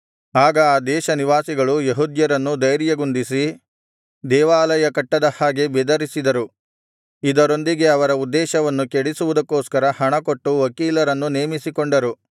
ಆಗ ಆ ದೇಶನಿವಾಸಿಗಳು ಯೆಹೂದ್ಯರನ್ನು ಧೈರ್ಯಗುಂದಿಸಿ ದೇವಾಲಯ ಕಟ್ಟದ ಹಾಗೆ ಬೆದರಿಸಿದರು ಇದರೊಂದಿಗೆ ಅವರ ಉದ್ದೇಶವನ್ನು ಕೆಡಿಸುವುದಕ್ಕೋಸ್ಕರ ಹಣಕೊಟ್ಟು ವಕೀಲರನ್ನು ನೇಮಿಸಿಕೊಂಡರು